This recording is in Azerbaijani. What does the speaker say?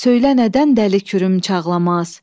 Söylə nədən dəli kürüm çağlamaz?